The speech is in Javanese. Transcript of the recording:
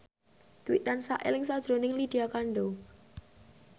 Dwi tansah eling sakjroning Lydia Kandou